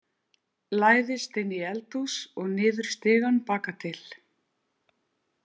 Læðist inn í eldhús og niður stigann baka til.